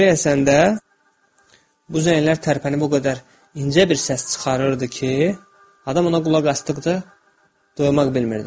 Külək əsəndə, bu zənglər tərpənib o qədər incə bir səs çıxarırdı ki, adam ona qulaq asdıqca doymaq bilmirdi.